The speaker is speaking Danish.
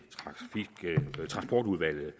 transportudvalget